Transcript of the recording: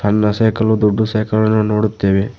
ಸಣ್ಣ ಸೈಕಲ್ ದೊಡ್ಡ ಸೈಕಲ್ ಅನ್ನು ನೋಡುತ್ತೇವೆ.